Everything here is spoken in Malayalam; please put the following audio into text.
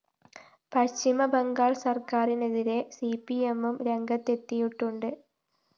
പശ്ചിമബംഗാള്‍ സര്‍ക്കാരിനെതിരെ സിപിഎമ്മും രംഗത്തെത്തിയിട്ടുണ്ട്